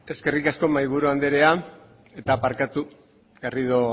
eskerrik asko mahaiburu andrea eta barkatu garrido